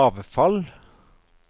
avfall